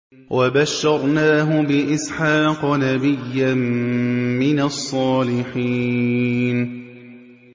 وَبَشَّرْنَاهُ بِإِسْحَاقَ نَبِيًّا مِّنَ الصَّالِحِينَ